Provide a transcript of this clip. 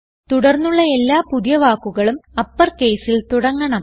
തുടർന്നുള്ള എല്ലാ പുതിയ വാക്കുകളും അപ്പർ caseൽ തുടങ്ങണം